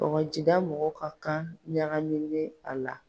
Kɔgɔjida mɔgɔw ka kan ɲagaminen a la.